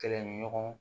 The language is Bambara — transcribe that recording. Kɛlɛ ni ɲɔgɔn